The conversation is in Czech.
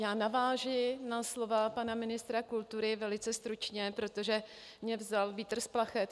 Já navážu na slova pana ministra kultury velice stručně, protože mi vzal vítr z plachet.